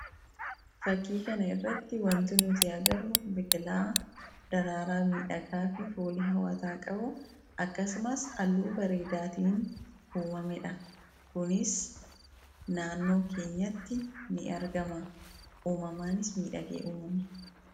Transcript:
Fakkii kana irratti wanti nuti agarru biqilaa daraaraa midhagaa fi fooli hawwataa qabu. Akkasumas halluu bareedaatiin uumameedha. Kunis naannoo keenyatti ni argama. Uumamaanis midhagee uumame.